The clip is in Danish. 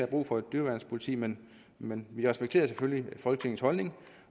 brug for et dyreværnspoliti men men vi respekterer selvfølgelig folketingets holdning